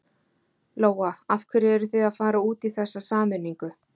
Lóa: Af hverju eruð þið að fara út í þessa sameiningu?